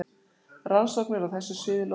Rannsóknir á þessu sviði lofa góðu.